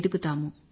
ఎదుగుతాము